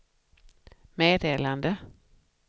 meddelande